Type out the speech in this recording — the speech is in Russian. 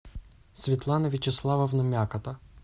светлана вячеславовна мякота